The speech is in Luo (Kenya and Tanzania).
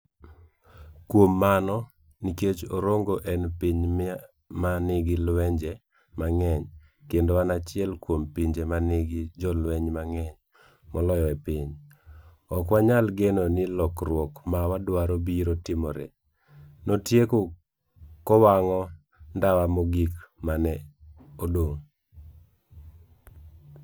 Kuom mano, nikech Orongo en piny ma nigi lwenje mang'eny kendo en achiel kuom pinje ma nigi jolweny mang'eny moloyo e piny, ok wanyal geno ni lokruok ma wadwaro biro timore, notieko kowang'o ndawa mogik ma ne odong'.